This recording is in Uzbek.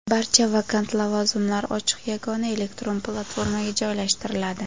barcha vakant lavozimlar ochiq yagona elektron platformaga joylashtiriladi;.